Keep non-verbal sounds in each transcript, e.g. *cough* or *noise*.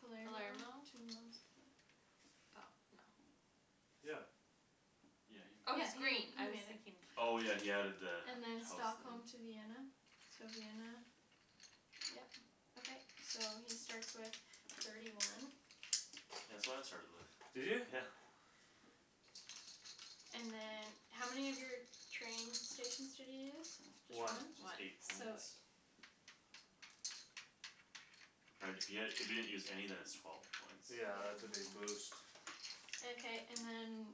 Palermo Palermo? to Moskva Oh, no. Yeah. Yeah, he Oh, Oh, made he's he's it. green green. I I was mean. thinking blu- Oh, yeah, he had added the And then house there. Stockholm to Vienna, so Vienna Yeah. Okay. So he starts with thirty one Yeah, that's what I started with, Did you? yeah And then How many of your train stations did you use? One. Just One. eight So. points. Right if you had if you hadn't used any then it's twelve points Yeah, that's a big boost. Okay, and then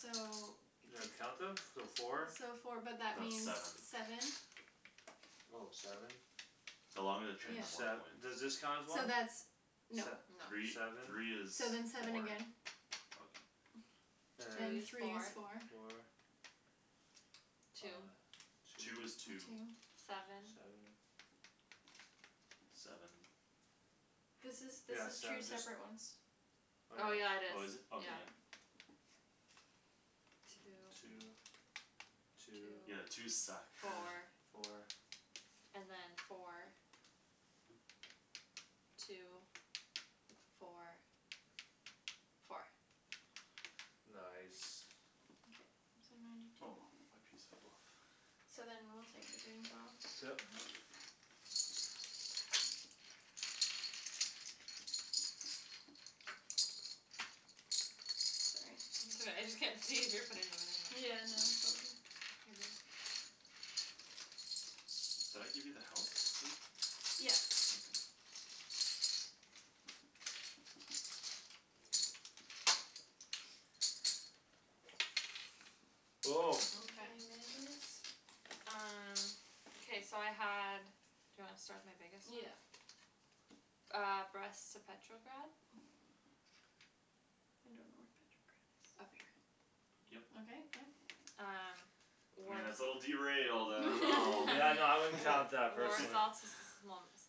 so You know how to count them? So four? So four but that That's means seven seven Oh, seven? The longer the train Then the Yeah. more sev- points. does this count as So one? that's No. Se- No. Three, seven three is So then seven four again Okay. And *inaudible* Three is is four four. Four Two Uh, Two two. is two Two Seven Seven Seven This is, this Yeah, is seven two just separate ones. Oh, Oh, yeah yeah, it is, Oh, is it? Okay, yeah yeah. *noise* Two Two Two Two Two Yeah, twos suck Four, *laughs* Four four. And then four Two, four Four Nice. Okay, so ninety two. Oh, my piece fell off. So then we'll take the green Yeah. *inaudible* Mhm. Sorry. It's all right. I just can't see if you're putting them in or not. Yeah, no *inaudible* Did I give you the house too? Yeah. Okay. Okay, *noise* Okay. Memphis. Um. Okay, so I had Do you want to start with my biggest Yeah. one? Ah, Brest to Petrograd I don't know where Petrograd is. Up here. Okay, Yup. yep. Um. I mean War- that's a little derailed. I don't know Yeah, no *laughs* I wouldn't *laughs* *laughs* War- count that personally. Warsaw to *inaudible*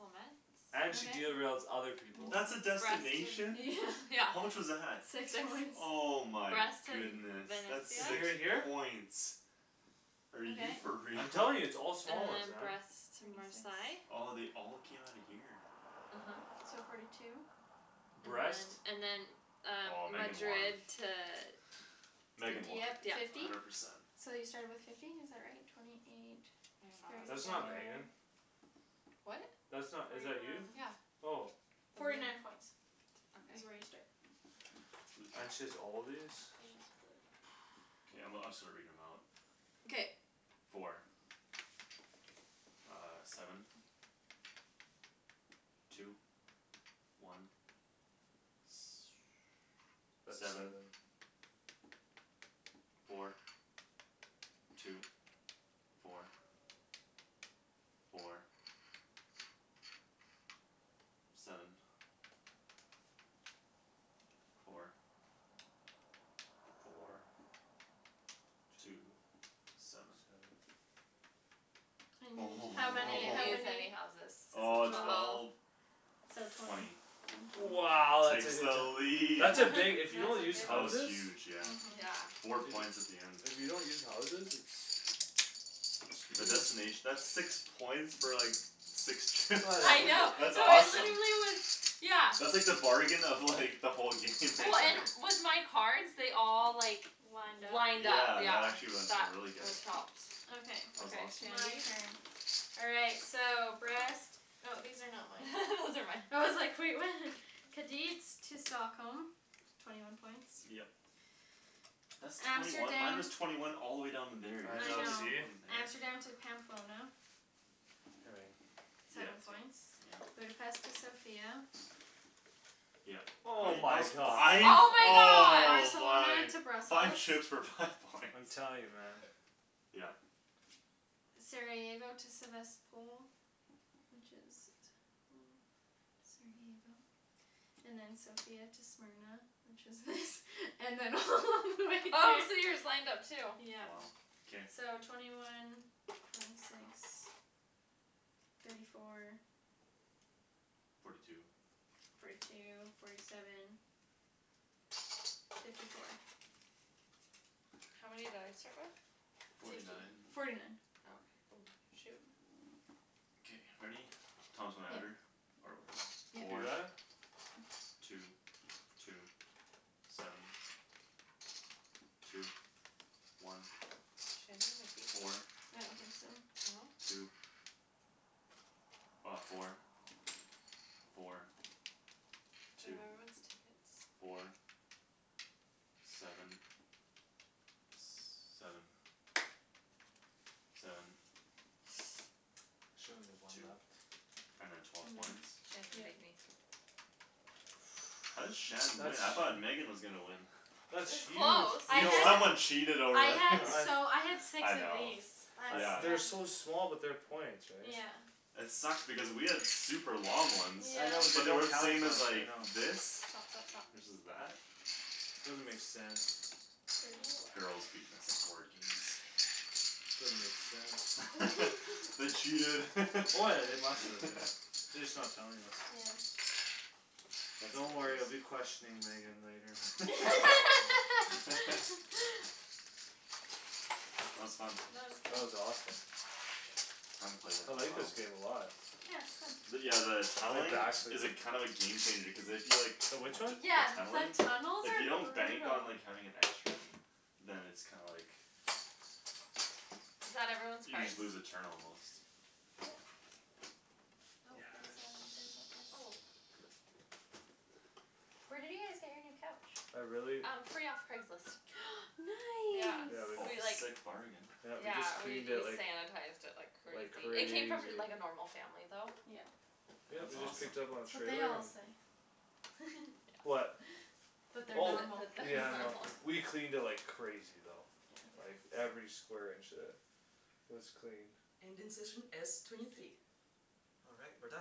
And she Okay. derails other people. That's a Twenty six destination? *inaudible* Yeah. Yeah How much *laughs* was that? Six Six Oh *inaudible* my Brest to V- goodness. Venice, That's To yeah. six here here? points. Are you Okay. for real? I'm telling you, it's all And small ones then then. Brest to Twenty six Marsail Oh, they all came outta here? uh-huh. So forty two. And then Brest. and then Um, Oh, Megan won. Madrid to Di- Megan won Dieppe Yeah. fifty hundred percent. So you started with fifty is that right? Twenty, twenty eight That's not Megan. *inaudible* *inaudible* What? That's not? Twenty Is one that you? Yeah. Oh. Forty night points *inaudible* T- is where okay you started Blue *noise* blue And she's chips all these? *noise* Okay, I'm gonna I'll start reading them out Okay. Four. Ah, seven, two, one *noise* That's Seven, seven. four, two, four, four Seven, four, Four four, two, Two seven Seven How I many? How didn't use many? any *noise* houses Oh, so twelve twelve So twenty Twenty One twenty Wow. Takes the *inaudible* lead. That's a big if *laughs* you don't use That was houses huge, yeah. uh-huh. Yeah. Four points at the end If you don't use houses it's The It's huge. destination that's six points for like Six trip. Yeah, I *inaudible* know, That's no, awesome. literally it was, yeah That's like the bargain of like the whole game Oh, and *inaudible* with my cards they all like Lined up Lined up, Yeah, that yeah actually wen- That really good what helps Okay, That was Okay, awesome. my Shandy. turn. All right, so Brest Oh, these are not mine *laughs* Those are mine. I was like, "Wait, what?" *laughs* Kadeets to Stockholm Twenty one points Yep. That's twenty one Amsterdam Minus twenty one all the way down in there I I know, know. see? Amsterdam to *inaudible* Pamplona Here we are. *noise* Seven Yep, points yeah. Budapest to Sofia Yeah Hol- *inaudible* Oh that my was points god. five, Oh my god. oh Barcelona my Five to shooks Brussels for five *laughs* points I'm telling you, man. Yeah. Sarajevo to Sevastpol Which is hmm Sarajevo And then Sofia to Smyrna Which is this And then all *laughs* the way Oh, so here yours lined up too? Wow, Yeah. k. So twenty one Twenty six Thirty four Forty two Forty two, forty seven Fifty four How many did I start with? Forty nine Forty nine Okay. Oh, shoot. K, ready? Thomas, wanna add her? Or whatever. Yeah. You Four got it? Two, two, seven, two, one, Shandy might beat me four, I don't think so. No? two Ah, four, four, Do I have two, everyone's tickets? four, seven, s- seven, seven *noise* She only have one Two left. And then twelve points Mhm. Shandon beat Yeah. me How did *noise* Shan That's win? I thought Megan was gonna win. It That's was huge. I close. You You know had what? someone cheated I over had here He- I so I *laughs* had six I of know these. That's yeah I've they're yeah so small but they're points right? Yeah. It sucked because we had super long ones I know but they But Yeah. they don't were the count as same much, as I like know. this Stop, stop, stop. Versus that Doesn't make sense. Thirty one Girls beating us at board games. Doesn't make sense. *laughs* They *laughs* cheated. *laughs* Oh, yeah, they must have, yeah. *laughs* They just not telling us. Yeah. That's Don't worry I'll hilarious. be questioning Megan later. *laughs* *laughs* *laughs* That was fun. That That was good. was awesome. I haven't played that I in a like this while. game a lot. Yeah, But it's fun. yeah the My Tunneling back's *inaudible* like is a kinda of a game changer cuz if you like The which one? T- Yeah, tunneling the tunnels If you are don't bank on brutal. like having an extra Then it's kinda like Is that everyone's You cards? just lose a turn almost Nope, there's a there's Yeah. a this Oh. *noise* *noise* Where did you guys get your new couch? I really Um, free off Craigslist. Yeah. Yeah, *noise* Nice. we c- Oh, We like sick bargain. Yeah, we just Yeah, we cleaned it we like sanitized it like Like crazy. It came crazy from like a normal family though. Yeah. Yeah, That's we just awesome. picked up on *inaudible* trailer. Yeah. What? *laughs* That they're That Oh, that normal. that they're yeah, I know. normal. We cleaned it like crazy though. Like Yeah. Yeah. every square inch, uh Was cleaned.